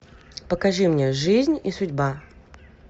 покажи мне жизнь и судьба